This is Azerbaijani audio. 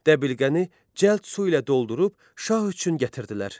Dəbilqəni cəld su ilə doldurub şah üçün gətirdilər.